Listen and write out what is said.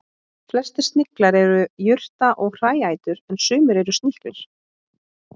Flestir sniglar eru jurta- og hræætur en sumir eru sníklar.